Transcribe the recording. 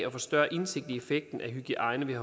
og få større indsigt i effekten af hygiejne ved